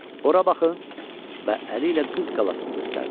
ora baxın və əli ilə Qız qalasını göstərdi.